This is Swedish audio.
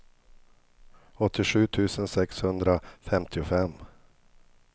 åttiosju tusen sexhundrafemtiofem